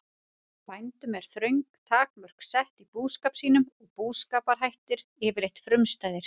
Bændum eru þröng takmörk sett í búskap sínum og búskaparhættir yfirleitt frumstæðir.